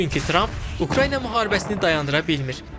Çünki Tramp Ukrayna müharibəsini dayandıra bilmir.